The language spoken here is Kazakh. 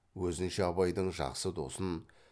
өзінше абайдың жақсы досын